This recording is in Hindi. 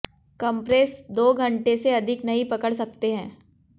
कम्प्रेस दो घंटे से अधिक नहीं पकड़ सकते हैं